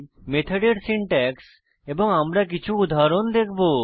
মেথডের সিনট্যাক্স এবং আমরা কিছু উদাহরণ দেখব